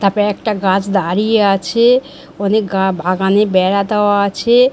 তারপরে একটা গাছ দাঁড়িয়ে আছে-এ অনেক গা বাগানে বেড়া দেওয়া আছে-এ।